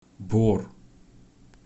бор